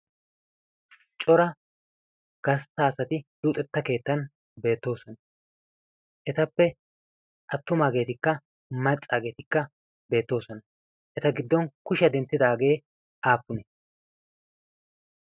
cora gastta asati luxetta keettan beettoosona etappe attumaageetikka maccaageetikka beettoosona eta giddon kushiyaa denttidaagee aapune